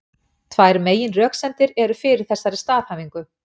Tvær meginröksemdir eru fyrir þessari staðhæfingu.